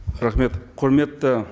рахмет құрметті